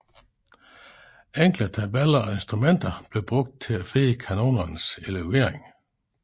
Enkle tabeller og instrumenter blev brugt til at finde kanonernes elevering